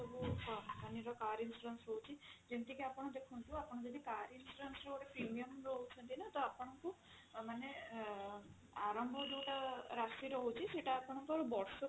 ଅଲଗା ଅଲଗା ସବୁ company ର car insurance ରହୁଛି ଯେମିତିକି ଆପଣ ଦେଖନ୍ତୁ ଆପଣ ଯଦି car insurance ର premium ନଉଛନ୍ତି ନା ତ ଆପଣଙ୍କୁ ମାନେ ଆରମ୍ଭ ଯଉଟା ରାଶି ରହୁଛି ସେଇଟା ଆପଣଙ୍କର ବର୍ଷକୁ